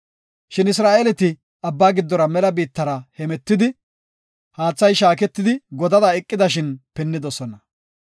Shin Isra7eeleti Abbaa giddora mela biittara hemetidi, haathay shaaketidi godada eqidashin pinnidosona.